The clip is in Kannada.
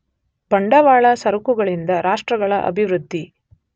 ಬಂಡವಾಳ ಸರಕುಗಳಿಂದ ರಾಷ್ಟ್ರಗಳ ಅಭಿವೃದ್ಧಿ.